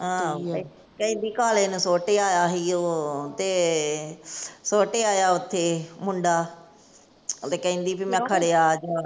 ਆਹੋ ਕੇ, ਕਹਿੰਦੀ ਕਾਲੇ ਨੂੰ ਸੁੱਟ ਆਇਆ ਸੀ ਉਹ ਤੇ ਸੁੱਟ ਆਇਆ ਤੇ ਸੁੱਟ ਆਇਆ ਉੱਥੇ ਮੁੰਡਾ ਕਹਿੰਦੀ ਭੀ ਮੈਂ ਖੜਿਆ ਅੱਜ ਆਣਕੇ।